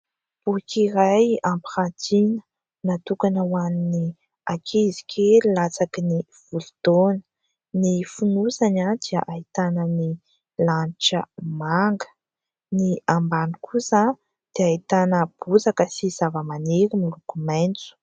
Boky iray ampiratiana natokana hoan'ny ankizy kely latsaky ny folo taona ny fonosany dia ahitana ny lanitra maga, ny ambany kosa dia ahitana bozaka sy zava-maniry miloko maitso.